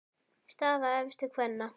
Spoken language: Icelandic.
Staða efstu kvenna